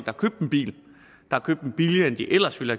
har købt en bil billigere end de ellers ville